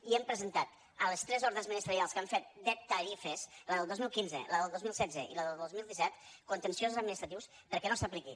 i hem presentat a les tres ordres ministerials que han fet de tarifes la del dos mil quinze la del dos mil setze i la del dos mil disset contenciosos administratius perquè no s’apliqui